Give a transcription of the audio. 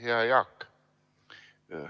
Hea Jaak!